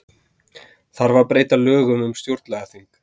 Þarf að breyta lögum um stjórnlagaþing